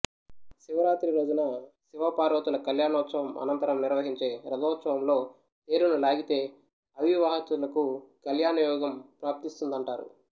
శివరాత్రి రోజున శివపార్వతుల కల్యాణోత్సవం అనంతరం నిర్వహించే రథోత్సవంలో తేరును లాగితే అవివాహితులకు కల్యాణయోగం ప్రాప్తిస్తుందంటారు